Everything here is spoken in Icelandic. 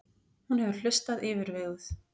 Hún hefur hlustað yfirveguð.